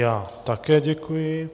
Já také děkuji.